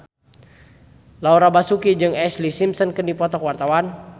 Laura Basuki jeung Ashlee Simpson keur dipoto ku wartawan